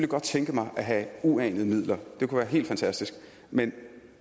kunne tænke mig at have uanede midler det kunne være helt fantastisk men